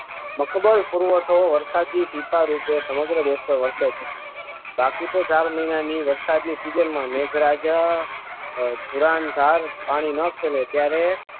મલક પુરવઠો વરસાદી ટીંબા રૂપે સમગ્ર દેશમાં વર્ષે છે બાકી તો ચાર મહિનાની વરસાદની સિઝનમાં મેઘરાજ તુરણધાર પાડી નાખે ને ત્યારે